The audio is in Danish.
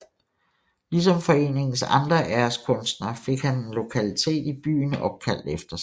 Ligesom foreningens andre æreskunstnere fik han en lokalitet i byen opkaldt efter sig